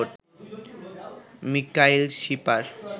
Mikail Shipar